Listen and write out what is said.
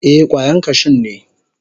Ee, kwayan kashun ne.